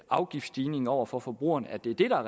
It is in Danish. afgiftsstigningen over for forbrugerne og det er